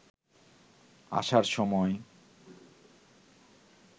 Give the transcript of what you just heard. আসার সময়